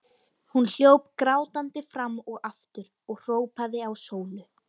Hún hljóp grátandi fram og aftur og hrópaði á Sólu.